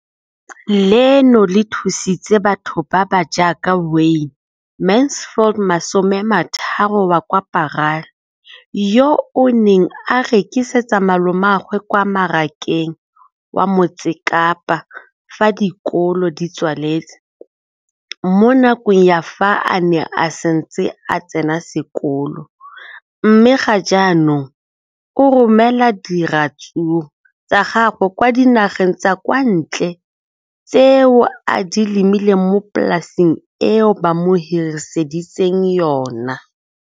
leno le thusitse batho ba ba jaaka Wayne Mansfield, 33, wa kwa Paarl, yo a neng a rekisetsa malomagwe kwa Marakeng wa Motsekapa fa dikolo di tswaletse, mo nakong ya fa a ne a santse a tsena sekolo, mme ga jaanong o romela diratsuru tsa gagwe kwa dinageng tsa kwa ntle tseo a di lemileng mo polaseng eo ba mo hiriseditseng yona.